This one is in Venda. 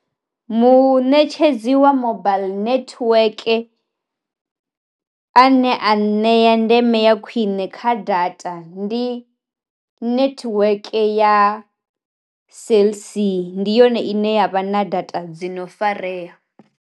Munetshedzi wa mobaiḽi nethiweke a ne a nṋea ndeme ya khwine kha data ndi nethiweke ya cellc ndi yone ine yavha na data dzi no fareya.